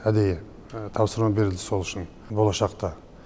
әдейі тапсырма берілді сол үшін болашақта